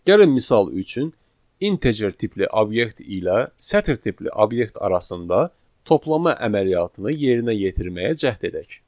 Gəlin misal üçün integer tipli obyekt ilə sətir tipli obyekt arasında toplama əməliyyatını yerinə yetirməyə cəhd edək.